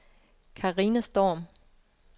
Carina Storm